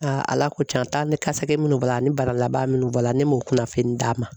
ALA ko can taa ni kasa minnu b'a la ani bara laban minnu b'a la ne m'o kunnafoni d'a ma.